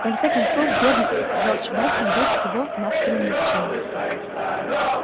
в конце концов бедный джордж вестон был всего-навсего мужчиной